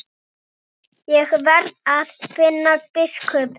Ég verð að finna biskup!